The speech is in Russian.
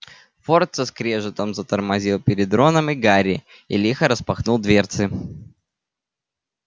форд со скрежетом затормозил перед роном и гарри и лихо распахнул дверцы